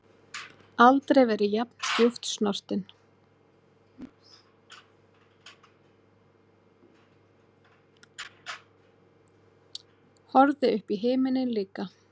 Horfði upp í himininn líka.